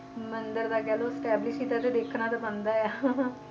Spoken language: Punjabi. ਮੰਦਿਰ ਦਾ ਕਹਿ ਲਓ establish ਕੀਤਾ ਤੇ ਦੇਖਣਾ ਤਾਂ ਬਣਦਾ ਆ